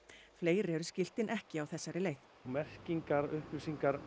fleiri eru skiltin ekki á þessari leið merkingar upplýsingar